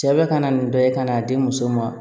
Cɛ bɛ ka na nin bɛɛ ye ka n'a di muso ma